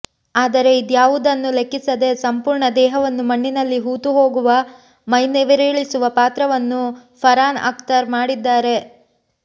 ಆದರೆ ಇದ್ಯಾವುದನ್ನೂ ಲೆಕ್ಕಿಸದೆ ಸಂಪೂರ್ಣ ದೇಹವನ್ನು ಮಣ್ಣಿನಲ್ಲಿ ಹೂತುಹೋಗುವ ಮೈನವಿರೇಳಿಸುವ ಪಾತ್ರವನ್ನು ಫರಾನ್ ಅಕ್ತರ್ ಮಾಡಿದ್ದಾರೆ